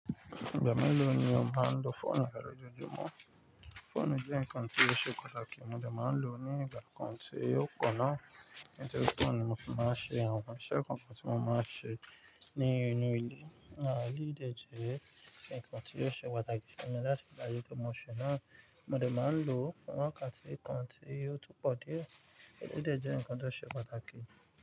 Ìgbà mélòó ni o máa ń lo fóònù rẹ loojojumọ̀? Fóònù jẹ́ ǹkan tí ó ṣe pàtàkì, mo dẹ̀ máa ń lò ó ní ìgbà kan tí yóò kọ́nà. Latori fóònù ni mo ti máa ń ṣe àwọn iṣẹ́ kookan tí mo máa ń ṣe ní inú ilé. Àwọn eléyìí dẹ̀ jẹ́ nǹkan tí ò ṣe pàtàkì fún mi láti padà rí i pé mọ́ ṣe ná. Mo dẹ̀ máa ń lò ó fún wákàtí kan tí yóò tún pọ̀ díẹ̀. Èléyìí dẹ̀ jẹ́ nǹkan tó ṣe pàtàkì.